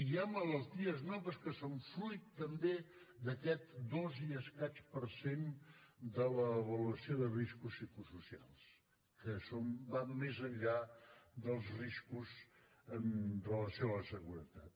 hi ha malalties noves que són fruit també d’aquest dos i escaig per cent de l’avaluació de riscos psicosocials que van més enllà dels riscos amb relació a la seguretat